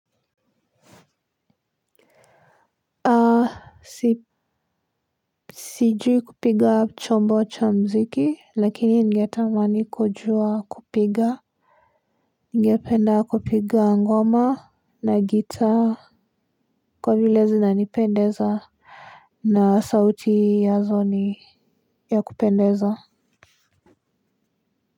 A. Sijui kupiga chombo cha mziki lakini ningetamani kujua kupiga ningependa kupiga ngoma na gitaa kwa vile zinanipendeza na sauti yazo n ya kupendeza.